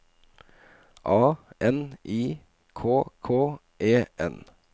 A N I K K E N